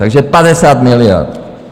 Takže 50 miliard.